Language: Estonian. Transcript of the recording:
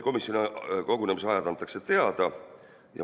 Komisjoni kogunemise ajad antakse teada.